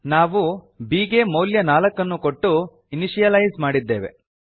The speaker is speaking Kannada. ನಾವು b ಗೆ ಮೌಲ್ಯ ನಾಲ್ಕನ್ನು ಕೊಟ್ಟು ಇನಿಶಿಯಲೈಜ್ ಮಾಡಿದ್ದೇವೆ